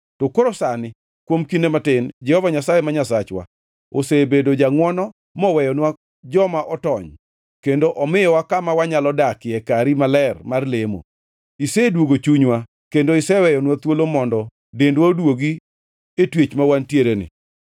“To koro sani, kuom kinde matin, Jehova Nyasaye ma Nyasachwa osebedo jangʼwono moweyonwa joma otony kendo omiyowa kama wanyalo dakie e kari maler mar lemo. Isedwogo chunywa, kendo iweyonwa thuolo mondo dendwa oduogi e twech ma wantiereni.